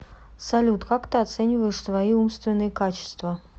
салют как ты оцениваешь свои умственные качества